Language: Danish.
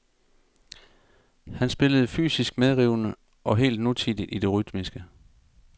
Han spillede fysisk medrivende og helt nutidigt i det rytmiske.